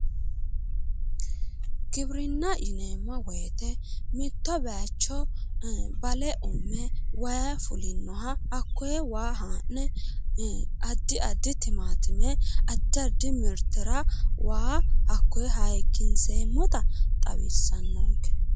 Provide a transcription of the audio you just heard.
Giwirinna yineemmo woyite mitto bayicho bale umme wayi fulinnoha hakkoye waa haa'ne addi addi timaatime addi addi mirtera waa hakkoye hayikkinseemmota xawissannonke.